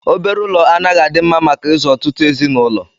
Obere ụlọ anaghị adị mma maka ịzụ ọtụtụ ezinụlọ.